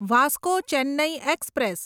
Vasco Chennai express